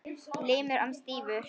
Limur hans stífur.